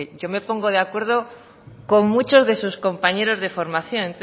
yo me pongo de acuerdo con muchos de sus compañeros de formación